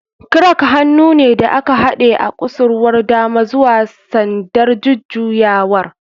Crank hannu ne da aka haɗe a kusurwar dama zuwa sandar jujjuyawar.